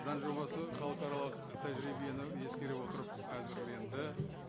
заң жобасы халықаралық тәжірибені ескере отырып әзірленді